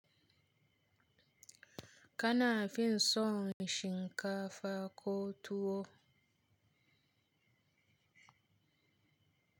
Kana fin son shinkafa ko tuwo?